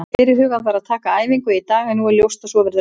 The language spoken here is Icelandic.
Fyrirhugað var að taka æfingu í dag en nú er ljóst að svo verður ekki.